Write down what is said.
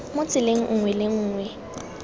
mo tseleng nngwe le nngwe